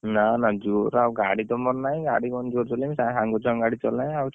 ନା ନା ଜୋରେ ଆଉ ଗାଡି ତ ମୋର ନାହିଁ ଆଉ ଗାଡି କଣ ଜୋରେ ଚଳେଇବି ସେ ସାଙ୍ଗ ଛୁଆ କଣ ଗାଡି ଚଳାଏ ଆଉ ଆଉ ଚଳେଇବିନି